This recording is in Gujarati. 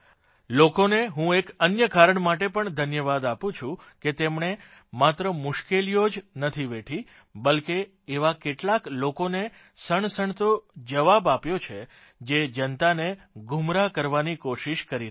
લોકોને હું એક અન્ય કારણ માટે પણ ધન્યવાદ આપું છું કે તેમણે માત્ર મુશ્કેલીઓ જ નથી વેઠી બલ્કે એવા કેટલાક લોકોને સણસણતો જવાબ આપ્યો છે જે જનતાને ગુમરાહ કરવાની કોશિષ કરી રહ્યા છે